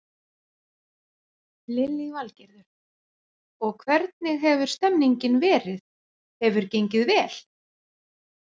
Lillý Valgerður: Og hvernig hefur stemningin verið, hefur gengið vel?